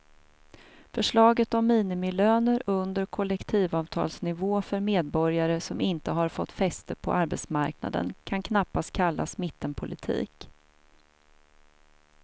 Förslaget om minimilöner under kollektivavtalsnivå för medborgare som inte har fått fäste på arbetsmarknaden kan knappast kallas mittenpolitik.